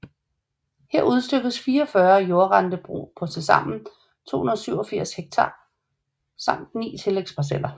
Her udstykkedes 44 jordrentebrug på tilsammen 287 hektar samt 9 tillægsparceller